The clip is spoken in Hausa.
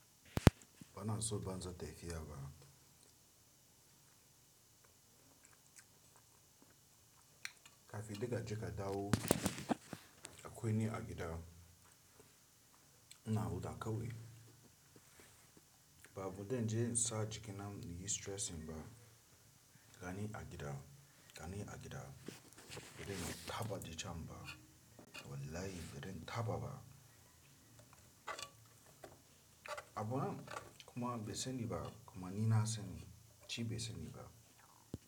Bana son banzar taifiya fa. Kafin kaje ka dawo akwai wani abu da nake gudu a kauye. Ba abun da zan je insa jikina na yi stressing ba. Gani a gida, gani a gida, bazan taɓa dacen ba. Wallahi birin thaba ba. Kuma bai sani ba kuma ni na sani shi bai sani ba.